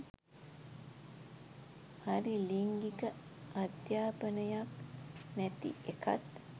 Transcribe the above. හරි ලිංගික අධ්‍යපනයක් නැති එකත්